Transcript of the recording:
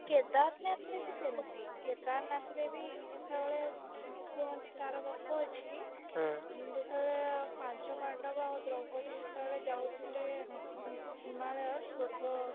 କେଦାରନାଥ ରେ ବି ସେମିତି କେଦାରନାଥ ରେ ବି ଯେତେବେଳେ କୁହନ୍ତି ତାର ଗପ ଅଛି ହୁଁ ଯେତେବେଳେ ପାଞ୍ଚ ପାଣ୍ଡବ ଆଉ ଦ୍ରୌପଦୀ ଯେତେବେଳେ ଯାଉଥିଲେ ହିମାଳୟ ସ୍ୱର୍ଗ